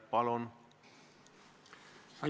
Palun!